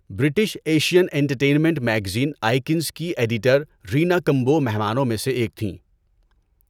British Asian entertainment magazine Icons کی editor Reena Kumbo مہمانوں میں سے ایک تھیں۔